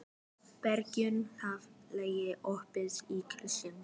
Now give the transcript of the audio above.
Bergjón, hvað er lengi opið í Kjöthöllinni?